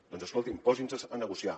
doncs escolti’m posinse a negociar